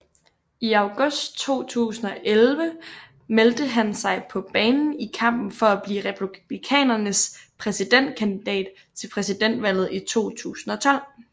I august 2011 meldte han sig på banen i kampen for at blive Republikanernes præsidentkandidat til præsidentvalget i 2012